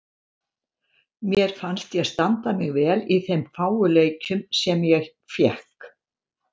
Mér fannst ég standa mig vel í þeim fáu leikjum sem ég fékk.